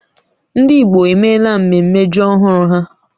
Ndị Igbo emela mmemme ji ọhụrụ ha